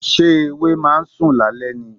Ṣé ewé ma ń sùn lálẹ́ ni?